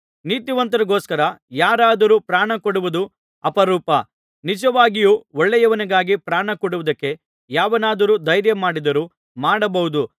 ನೀತಿವಂತರಿಗೋಸ್ಕರ ಯಾರಾದರೂ ಪ್ರಾಣಕೊಡುವುದು ಅಪರೂಪ ನಿಜವಾಗಿಯೂ ಒಳ್ಳೆಯವನಿಗಾಗಿ ಪ್ರಾಣಕೊಡುವುದಕ್ಕೆ ಯಾವನಾದರೂ ಧೈರ್ಯಮಾಡಿದರೂ ಮಾಡಬಹುದು